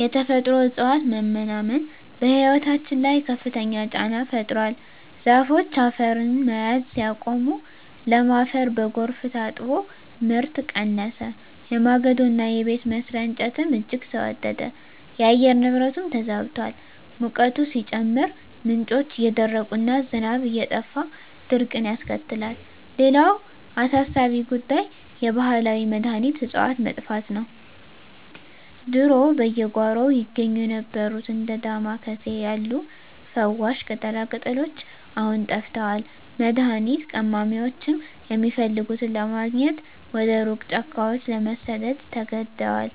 የተፈጥሮ እፅዋት መመናመን በሕይወታችን ላይ ከፍተኛ ጫና ፈጥሯል። ዛፎች አፈርን መያዝ ሲያቆሙ፣ ለም አፈር በጎርፍ ታጥቦ ምርት ቀነሰ፤ የማገዶና የቤት መስሪያ እንጨትም እጅግ ተወደደ። የአየር ንብረቱም ተዛብቷል፤ ሙቀቱ ሲጨምር፣ ምንጮች እየደረቁና ዝናብ እየጠፋ ድርቅን ያስከትላል። ሌላው አሳሳቢ ጉዳይ የባህላዊ መድኃኒት እፅዋት መጥፋት ነው። ድሮ በየጓሮው ይገኙ የነበሩት እንደ ዳማ ኬሴ ያሉ ፈዋሽ ቅጠላቅጠሎች አሁን ጠፍተዋል፤ መድኃኒት ቀማሚዎችም የሚፈልጉትን ለማግኘት ወደ ሩቅ ጫካዎች ለመሰደድ ተገደዋል።